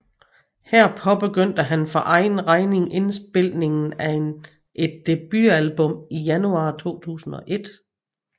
Her påbegyndte han for egen regning indspilningen af et debutalbum i januar 2001